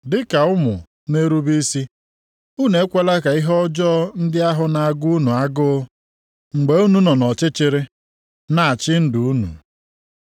Dị ka ụmụ na-erube isi, unu ekwela ka ihe ọjọọ ndị ahụ na-agụ unu agụụ mgbe unu nọ nʼọchịchịrị, na-achị ndụ unu.